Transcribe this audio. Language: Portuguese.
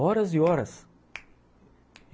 Horas e horas (estralo de dedo)